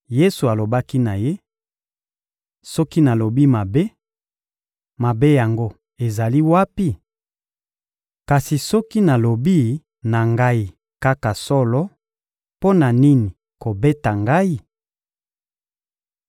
Yesu alobaki na ye: — Soki nalobi mabe, mabe yango ezali wapi? Kasi soki nalobi na Ngai kaka solo, mpo na nini kobeta Ngai?